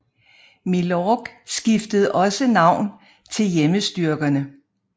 Milorg skiftede også navn til Hjemmestyrkerne